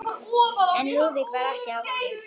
En Lúðvík var ekki á því.